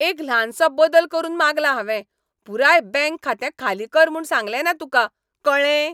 एक ल्हानसो बदल करून मागला हांवें, पुराय बँक खातें खाली कर म्हूण सांगलें ना तुका, कळ्ळें?